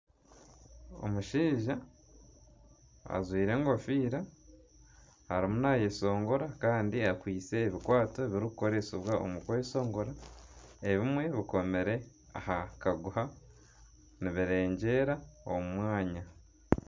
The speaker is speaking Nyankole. Omushaija ajwire enkofiira arimu naayeshongora kandi akwitse ebikwato ebirikukoresibwa omu kweshongora ebimwe bikomire aha kaguha nibiregyera omu mwanya